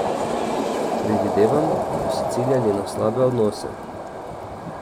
Predvidevam, da so ciljali na slabe odnose.